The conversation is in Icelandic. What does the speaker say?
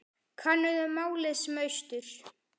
Kannaðu málið sem austur.